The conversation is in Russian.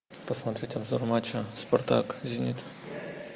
посмотреть обзор матча спартак зенит